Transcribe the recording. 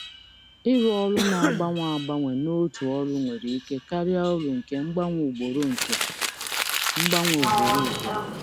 Arụmọrụ na-agbanwe agbanwe n'otu ọrụ nwere ike karịa uru nke mgbanwe ugboro ugboro.